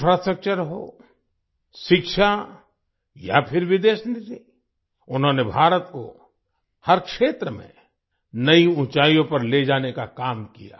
infrastructure हो शिक्षा या फिर विदेश नीति उन्होंने भारत को हर क्षेत्र में नई ऊँचाइयों पर ले जाने का काम किया